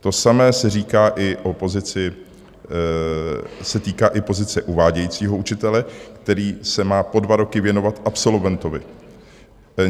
To samé se týká i pozice uvádějícího učitele, který se má po dva roky věnovat absolventovi.